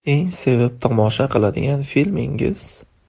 Eng sevib tomosha qiladigan filmingiz?